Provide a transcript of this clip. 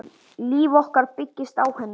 Líf okkar byggist á henni.